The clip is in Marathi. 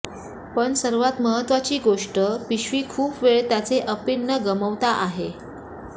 पण सर्वात महत्वाची गोष्ट पिशवी खूप वेळ त्याचे अपील न गमावता आहे